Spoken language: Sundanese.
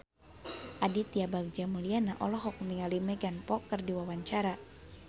Aditya Bagja Mulyana olohok ningali Megan Fox keur diwawancara